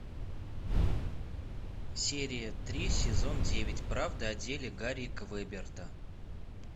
серия три сезон девять правда о деле гарри квеберта